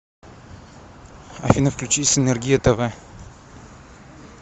афина включи синергия тв